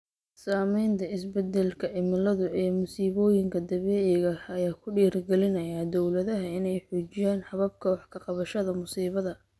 Saamaynta isbeddelka cimiladu ee masiibooyinka dabiiciga ah ayaa ku dhiirigeliya dawladaha inay xoojiyaan hababka wax ka qabashada musiibada.